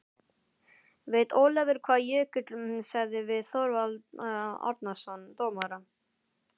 Veit Ólafur hvað Jökull sagði við Þorvald Árnason dómara?